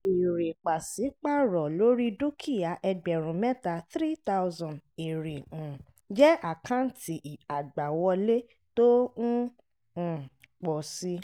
èrè pàṣípàrọ̀ lórí dúkìá ẹgbẹ̀rún mẹ́ta (3000) èrè um jẹ́ àkáǹtì àgbàwọlé tó ń um pọ̀ si.